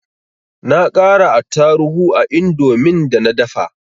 Na ƙara attaruhu a indomin da na dafa